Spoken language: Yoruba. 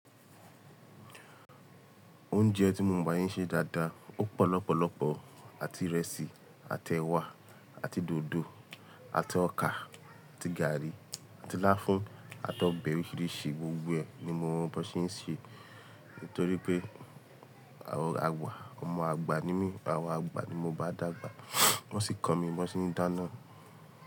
Oúnjẹ tí mo mọ̀ báyìí ṣe dáadáa, ó pọ̀ lọ́pọ̀lọ́pọ̀ àti ìrẹsì, àti ẹ̀wà, àti dòdò, àti ọkà, àti gààrí, àti láfún, àti ọbẹ̀ oríṣiríṣi gbogbo ẹ ni mo mọ̀ bí wọ́n ṣe ń ṣe. Nítorí pé àwọn àgbà, ọmọ àgbà ni mí, àwọn àgbà ni mo bá dàgbà, wọ́n sì kọ́ mi bí wọ́n ṣe ń dáná.